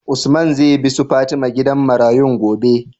Usman zai bi su fatima gidan marayun gobe?